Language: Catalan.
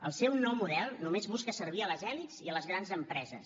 el seu nou model només busca servir les elits i les grans empreses